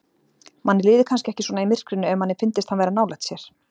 Manni liði kannski ekki svona í myrkrinu ef manni fyndist hann vera nálægt sér.